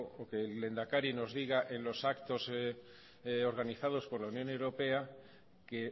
o que el lehendakari nos diga en los actos organizados por la unión europea que